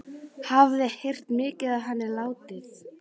Hafði heyrt mikið af henni látið.